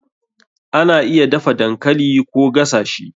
Ana iya dafa dankali Koh gasa shi.